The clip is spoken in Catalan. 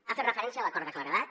ha fet referència a l’acord de claredat